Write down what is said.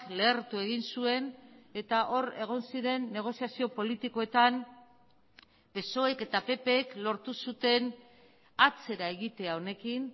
lehertu egin zuen eta hor egon ziren negoziazio politikoetan psoek eta ppk lortu zuten atzera egitea honekin